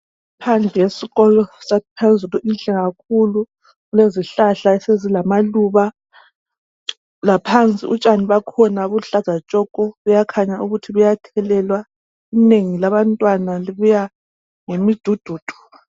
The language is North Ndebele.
Iphandle yesikolo saphezulu inhle kakhulu! Kulezihlahla esezilamaluba. Laphansi utshani bakhona, buluhkaza tshoko! Buyakhanya ukuthi buyathelekwa. Inengi labantwana, babuya ngemidududu.